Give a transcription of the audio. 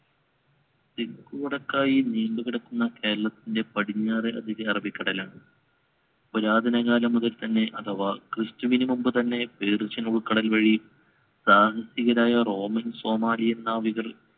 തെക്കുവടക്കായി നീണ്ടുകിടക്കുന്ന കേരളത്തിന്‍റെ പടിഞ്ഞാറെ അതിർത്തി അറബിക്കടലാണ്. പുരാതനകാലം മുതൽക്കുതന്നെ അഥവാ ക്രിസ്തുവിനു മുൻപുതന്നെ പേർഷ്യൻ ഉൾക്കടൽ വഴി സാഹസികരായ റോമൻ, സോമാലിയൻ നാവികർ